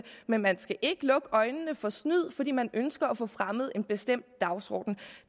men man skal ikke lukke øjnene for snyd fordi man ønsker at få fremmet en bestemt dagsorden